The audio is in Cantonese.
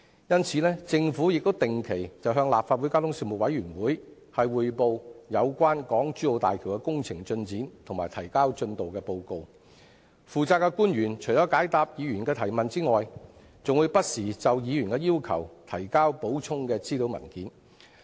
因此，政府定期向立法會交通事務委員會匯報港珠澳大橋的工程進展及提交進度報告，負責的官員除了解答議員的提問之外，還會不時應議員的要求，提交補充資料文件。